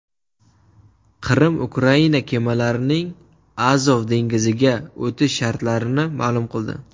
Qrim Ukraina kemalarining Azov dengiziga o‘tish shartlarini ma’lum qildi.